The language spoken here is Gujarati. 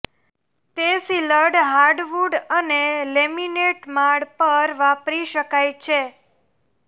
તે સીલડ હાર્ડવુડ અને લેમિનેટ માળ પર વાપરી શકાય છે